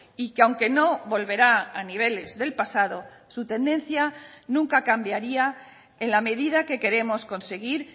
y que aunque no volverá a niveles del pasado su tendencia nunca cambiaría en la medida que queremos conseguir